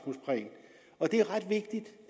vigtigt